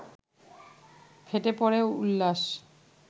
ফেটে পড়ে উল্লাস